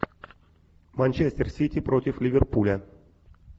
манчестер сити против ливерпуля